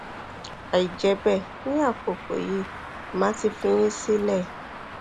àìjẹ bẹẹ ní àkókò yìí màá ti fi yín sílẹ